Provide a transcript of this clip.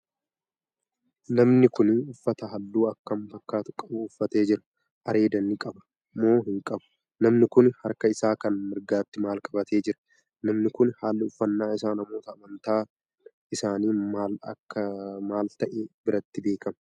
Namni Kuni uffata halluu akkam fakkaatu qabu uffatee Jira?.areeda ni qaba moo hin qabu?.namni Kuni harka Isaa Kan mirgaatti maal qabatee Jira?.namni Kuni haalli uffannaa Isaa namoota amantaan isaanii maal ta'e biratti beekama?.